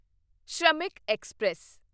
Shramik express